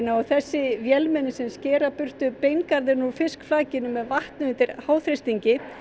og þessi vélmenni sem skera burtu beingarðinn úr fiskflakinu með vatni undir háþrýstingi